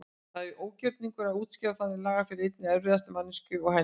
Það er ógjörningur að útskýra þannig lagað fyrir eins erfiðri manneskju og henni.